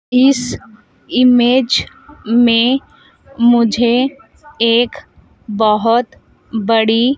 इस इमेज में मुझे एक बोहत बड़ी--